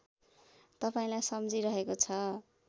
तपाईँलाई सम्झिरहेको छ